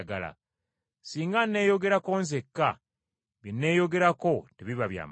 Singa nneeyogerako nzekka, bye nneyogerako tebiba bya mazima.